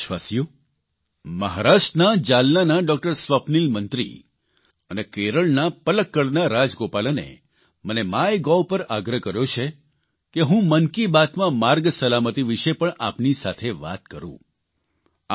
મારા વ્હાલા દેશવાસીઓ મહારાષ્ટ્રના જાલનાના ડોકટર સ્વપ્નીલ મંત્રી અને કેરળના પલક્કડના રાજગોપાલને મને માય ગોવ પર આગ્રહ કર્યો છે કે હું મન કી બાતમાં માર્ગ સલામતિ વિશે પણ આપની સાથે વાત કરૂં